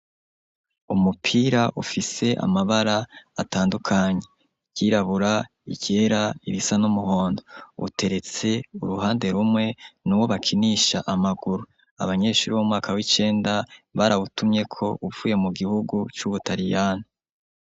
Umupira ufise amabara atandukanyi ryirabura ikera irisa nuumuhondo uteretse uruhande rumwe n' uwo bakinisha amaguru abanyeshuri b'o mwaka w'icenda bariawutumye ko upfuye mu gihugu c'ubutaliyana.